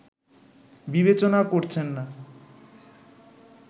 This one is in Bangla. বিবেচনা করছেন না